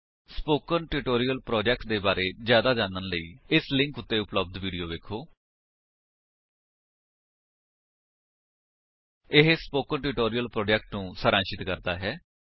spoken tutorial project ਦੇ ਬਾਰੇ ਵਿੱਚ ਜਿਆਦਾ ਜਾਣਨ ਲਈ ਇਸ ਲਿੰਕ ਉੱਤੇ ਉਪਲੱਬਧ ਵੀਡੀਓ ਵੇਖੋ http spoken tutorial org What is a Spoken Tutorial ਇਹ ਸਪੋਕਨ ਟਿਊਟੋਰਿਅਲ ਪ੍ਰੋਜੇਕਟ ਨੂੰ ਸਾਰਾਂਸ਼ਿਤ ਕਰਦਾ ਹੈ